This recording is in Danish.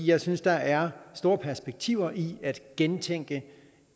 jeg synes der er store perspektiver i at gentænke